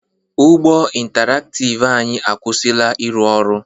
Ụgbọ intaraktiv anyị akwụsịla ịrụ ọrụ.